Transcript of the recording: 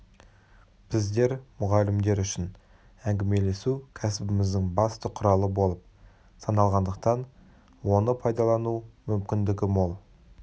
біздер мұғалімдер үшін әңгімелесу кәсібіміздің басты құралы болып саналғандықтан оны пайдалану мүмкіндігі мол